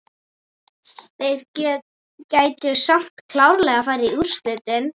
Þeir gætu samt klárlega farið í úrslit.